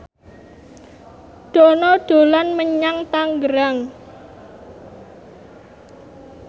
Dono dolan menyang Tangerang